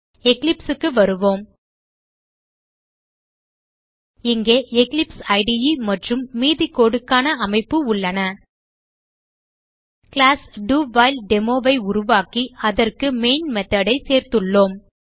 eclipse க்கு வருவோம் இங்கே எக்லிப்ஸ் இடே மற்றும் மீதி codeக்கான அமைப்பு உள்ளன கிளாஸ் டவுஹைல்டெமோ ஐ உருவாக்கி அதற்கு மெயின் method ஐ சேர்த்துள்ளோம்